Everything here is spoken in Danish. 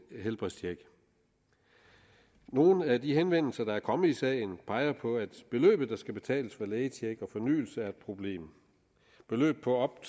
helbredstjek nogle af de henvendelser der er kommet i sagen peger på at beløbet der skal betales for lægetjek og fornyelse er et problem beløb på op